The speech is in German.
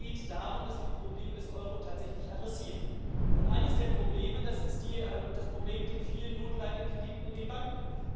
Es geht darum, dass wir die Probleme des Euro tatsächlich adressieren. Und eines der Probleme ist das Problem mit den vielen notleidenden Krediten in den Banken.